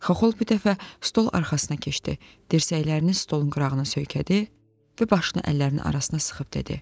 Xaxol bu dəfə stol arxasına keçdi, dirsəklərini stolun qırağına söykədi və başını əllərinin arasına sıxıb dedi: